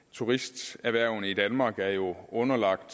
turisterhvervene i danmark er jo underlagt